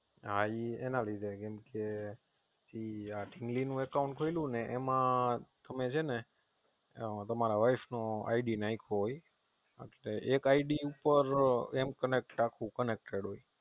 હા એના લીધે કેમકે આ ઢીંગલીનું Account ખોલું ને એમાં તમે છેને તમારા Wife નું ID નાખ્યું હોય. એટલે એક ID ઉપર એમ કંઈક આખું Connected હોય.